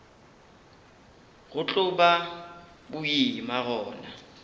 go tlo ba boima gona